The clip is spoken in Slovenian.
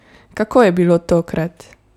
Kako je bilo tokrat?